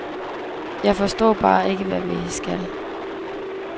Jeg forstår bare ikke, hvad vi skal.